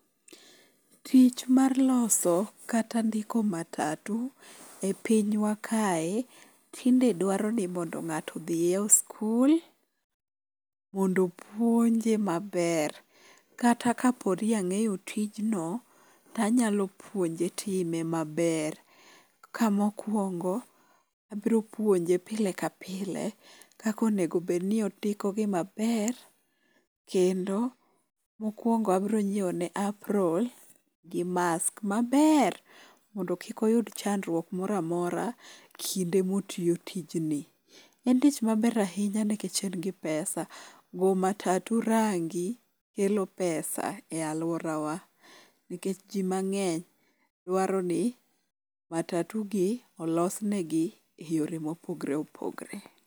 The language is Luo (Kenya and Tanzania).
Tich mar loso kata ndiko matatu e pinywa kae, tinde dwaro ni mondo ng'ato odhiyo skul mondo opuonje maber kata kapo ni ang'eyo tijno, tanyalo puonje time maber. Ka mokwongo, abro puonje pile ka pile kaka onego obed ni ondiko gi maber. Kendo, mokwongo abiro nyiewone apron gi mask maber mondo kik oyud chandruok mora mora kinde motiyo tijni. En tich maber ahinya nikech en gi pesa. Go matatu range kelo pesa e alworawa nikech ji mang'eny dwaro ni matatugi olosnegi e yore mopogre opogre.